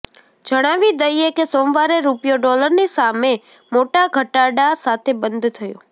જણાવી દઇએ કે સોમવારે રૂપિયો ડોલરની સામે મોટા ઘટાડા સાથે બંધ થયો